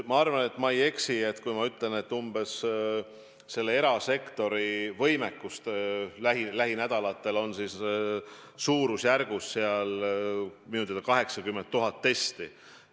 Ma arvan, et ma ei eksi, kui ütlen, et erasektori võimekus lähinädalatel on suurusjärgus 80 000 testi.